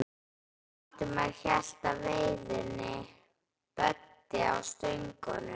Valdimar hélt á veiðinni, Böddi á stöngunum.